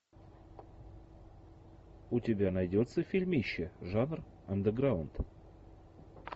у тебя найдется фильмище жанр андеграунд